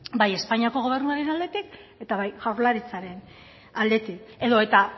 bai espainiako gobernuaren aldetik eta bai jaurlaritzaren aldetik edota